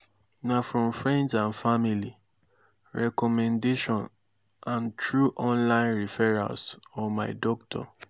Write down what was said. na from friends and family recommendation and through online referrals or my doctor.